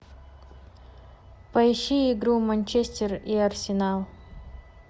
поищи игру манчестер и арсенал